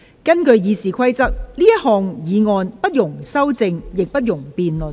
根據《議事規則》，這項議案不容修正，亦不容辯論。